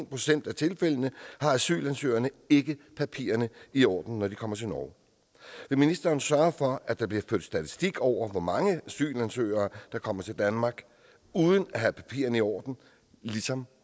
procent af tilfældene har asylansøgerne ikke papirerne i orden når de kommer til norge vil ministeren sørge for at der bliver ført statistik over hvor mange asylansøgere der kommer til danmark uden at have papirerne i orden ligesom